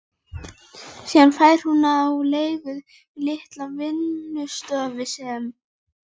Síðan fær hún á leigu litla vinnustofu sem